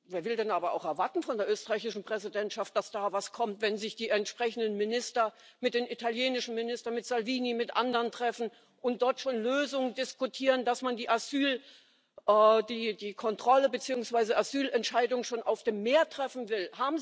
Wer will denn aber von der österreichischen Präsidentschaft auch erwarten, dass da etwas kommt, wenn sich die entsprechenden Minister mit den italienischen Ministern, mit Salvini, mit anderen treffen und dort schon Lösungen diskutieren, dass man die Kontrolle beziehungsweise Asylentscheidung schon auf dem Meer treffen will.